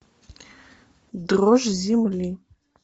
дрожь земли